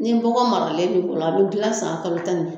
Ni bɔgɔ maralen b'i bolo a bɛ dilan san kalo tan ni fila